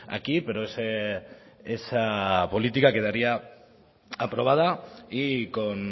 aquí pero esa política quedaría aprobada y con